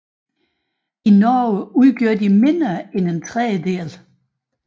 I Norge udgør de mindre end en tredjedel